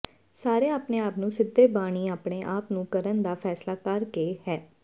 ਸਾਰੇ ਆਪਣੇ ਆਪ ਨੂੰ ਸਿੱਧੇ ਬਾਨੀ ਆਪਣੇ ਆਪ ਨੂੰ ਕਰਨ ਦਾ ਫੈਸਲਾ ਕਰ ਕੇ ਹੈ